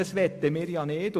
Das möchten wir nicht.